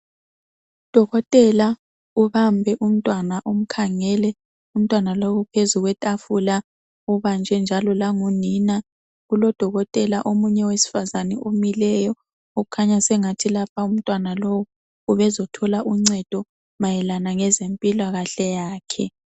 Udokotela ubambe umntwana umkhangele umntwana lowu uphezu kwetafula ubanjwe njalo la ngunina kulodokotela omunye owesifazana omileyo okukhanya ukuthi lapha umntwana lowu ubezo thola uncedo mayelana lezempilakahle yakhe.